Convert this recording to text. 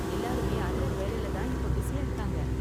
எல்லாருமே அந்த வேலைல தான் இப்ப பிஸியா இருக்காங்க.